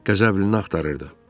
Qəzəblini axtarırdı.